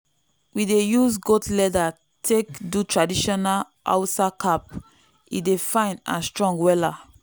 we dey use goat leather take do traditional hausa cap e dey fine and strong wella